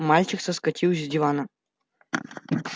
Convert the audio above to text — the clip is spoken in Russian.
мальчик соскочил с дивана